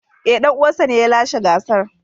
Ee, dan uwansa ne ya lashe gasar.